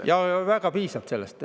Jaa, piisab sellest.